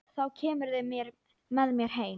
Þá kemurðu með mér heim.